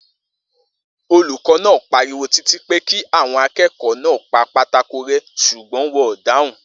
Olùkó̩ náà pariwo títí pé kí àwo̩n aké̩kò̩ó̩ náà pa pátákó ré̩ s̩ùgbó̩n wo̩n ò dáhùn